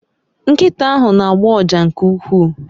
Nkita ahu n'agbo uja nke uwkwuu